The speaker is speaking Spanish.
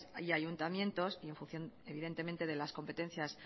y ayuntamientos y en función evidentemente de las competencias